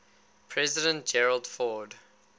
president gerald ford